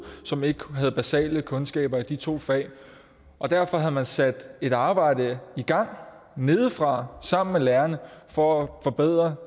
som ikke havde basale kundskaber i de to fag derfor havde man sat et arbejde i gang nedefra sammen med lærerne for at forbedre